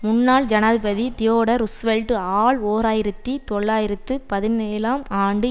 முன்னாள் ஜனாதிபதி Theodore Roosevelt ஆல் ஓர் ஆயிரத்தி தொள்ளாயிரத்து பதினேழாம் ஆண்டு